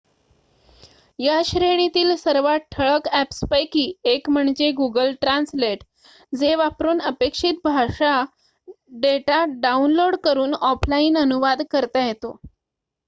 या श्रेणीतील सर्वात ठळक अ‍ॅप्सपैकी एक म्हणजे गुगल ट्रान्सलेट जे वापरून अपेक्षित भाषा डेटा डाउनलोड करून ऑफलाइन अनुवाद करता येतो